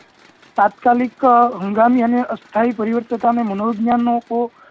તાત્કાલિક હંગામી હંગામી અને અસ્થાયી પરિવર્તિકા ને મનોજ્ઞનો